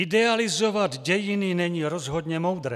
Idealizovat dějiny není rozhodně moudré.